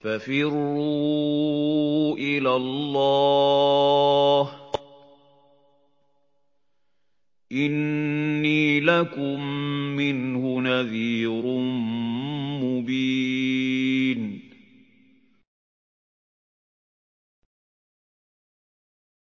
فَفِرُّوا إِلَى اللَّهِ ۖ إِنِّي لَكُم مِّنْهُ نَذِيرٌ مُّبِينٌ